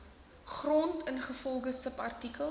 grond ingevolge subartikel